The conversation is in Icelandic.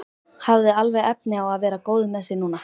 Hafði alveg efni á að vera góður með sig núna.